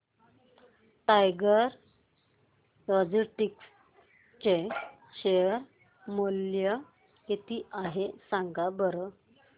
tiger Logistics चे share मूल्य किती आहे सांगा बरं